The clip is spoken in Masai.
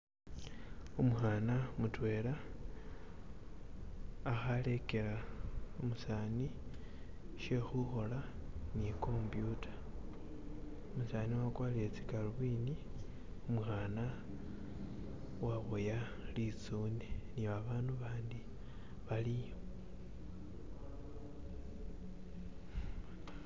Umuhana mutwela akhalekela umusani shekhukhola ni compyuta umusani wakwarile sigalobindi umukhana waboya litsune ni abandu bandi baliyo